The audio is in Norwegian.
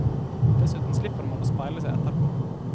Dessuten slipper man å speile seg etterpå.